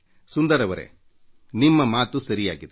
ಸುಂದರ್ ಜೀ ನಿಮ್ಮ ಮಾತು ಸರಿಯಾಗಿದೆ